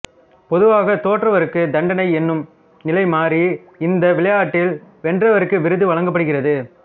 பொதுவாகத் தோற்றவருக்குத் தண்டனை என்னும் நிலை மாறி இந்த விளையாட்டில் வென்றவருக்கு விருது வழங்கப்படுகிறது